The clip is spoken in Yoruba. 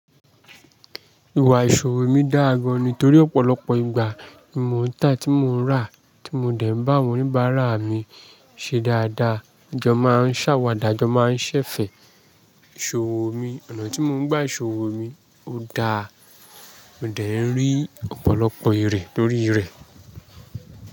Ìwà ìṣòro mi dáa gan-an nítorí ọ̀pọ̀lọpọ̀ ìgbà tí mò ń tà, tí mò ń rà, tí mo dẹ̀ ń bá àwọn oníbàárà mi ṣe dáadáa. Àjọ máa ń ṣàwàdà, àjọ máa ń ṣẹ̀fẹ̀. Ìṣòro mi, ọ̀nà tí mò ń gba ìṣòro mi ó dáa. Mo dẹ̀ ń rí ọ̀pọ̀lọpọ̀ èrè lórí rẹ̀